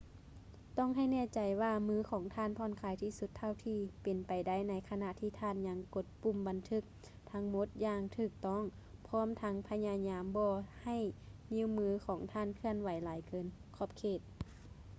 ຕ້ອງໃຫ້ແນ່ໃຈວ່າມືຂອງທ່ານຜ່ອນຄາຍທີ່ສຸດເທົ່າທີ່ເປັນໄປໄດ້ໃນຂະນະທີ່ທ່ານຍັງກົດປຸ່ມບັນທຶກທັງໝົດຢ່າງຖືກຕ້ອງ ພ້ອມທັງພະຍາຍາມບໍ່ໃຫ້ນິ້ວມືຂອງທ່ານເຄື່ອນໄຫວຫຼາຍເກີນຂອບເຂດ